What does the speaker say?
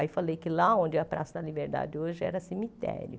Aí falei que lá onde é a Praça da Liberdade hoje era cemitério.